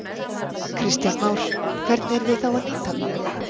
Kristján Már: Hvernig eru þið þá að nýta hann?